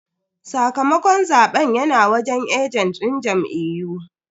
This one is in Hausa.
Sakamakon zaben yana wajen ajent din jam'iyyu.